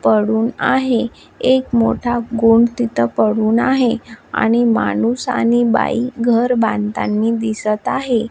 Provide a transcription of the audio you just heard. पडून आहे एक मोठा गोम तिथं पडून आहे आणि माणूस आणि बाई घर बांधतानी दिसत आहे.